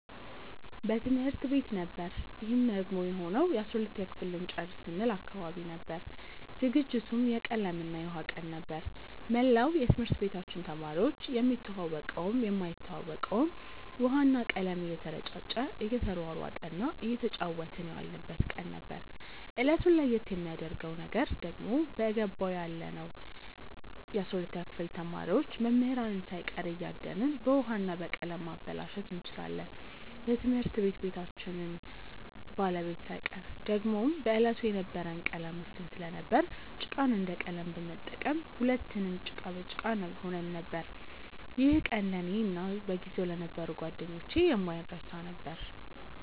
በትምህርት ቤት ነበር ይህም ደግሞ የሆነው የ12ተኛ ክፍል ልንጨርስ ስንል አካባቢ ነበር። ዝግጅቱም የቀለም እና የውሃ ቀን ነበር። መላው የትምህርት ቤታችን ተማሪዎች የሚተዋወቀውም የማይተዋወቀውም ውሃ እና ቀለም እየተረጫጨ እየተሯሯጠ እና እየተጫወትን የዋልንበት ቀን ነበር። እለቱን ለየት የሚያረገው ነገር ደግሞ በገባው ያለነው የ12ተኛ ክፍል ተማሪዎች መምህራንን ሳይቀር እያደንን በውሀ እና በቀለም ማበላሸት እንችላለን የትምህርት ቤታችንን ባለቤት ሳይቀር። ደግሞም በዕለቱ የነበረን ቀለም ውስን ስለነበር ጭቃን እንደ ቀለም በመጠቀም ሁለትንም ጭቃ በጭቃ ሆነን ነበር። ይህ ቀን ለእኔ እና በጊዜው ለነበሩ ጓደኞቼ የማይረሳ ነበር።